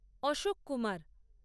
Ashok Kumar